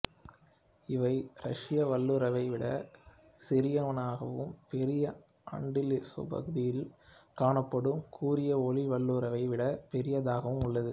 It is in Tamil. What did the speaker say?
இவை ரஷ்ய வல்லூறை விட சிறியனவாகவும் பெரிய அண்டிலிசுபகுதியில் காணப்படும் கூரிய ஒளி வல்லூரை விட பெரியதாகவும் உள்ளது